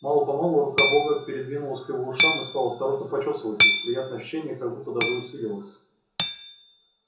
мало помалу рука бога передвинулась к его ушам и стала осторожно почёсывать их приятное ощущение как будто даже усилилось